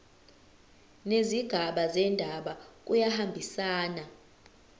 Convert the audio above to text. nezigaba zendaba kuyahambisana